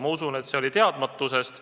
Ma usun, et see oli teadmatusest.